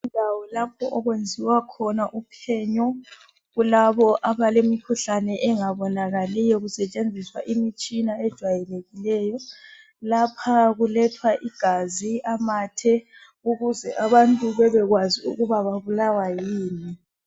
Indawo lapho okwenziwa khona uphenyo kulabo abalemikhuhlane engabonakaliyo kusetshenziswa imitshina ejwayelekileyo. Lapha kulethwa igazi, amathe ukuze abantu bebekwazi ukuba babulawa yini